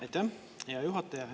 Aitäh, hea juhataja!